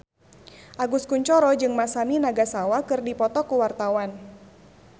Agus Kuncoro jeung Masami Nagasawa keur dipoto ku wartawan